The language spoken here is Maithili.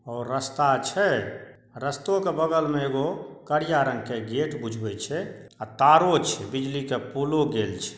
और रस्ता छै रस्तो के बगल मे एगो करिया रंग के गेट बुझबे छै अ तारो छै बिजली के पोलो गेल छै।